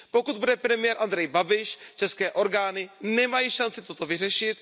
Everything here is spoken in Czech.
Pokud bude premiérem Andrej Babiš, české orgány nemají šanci toto vyřešit.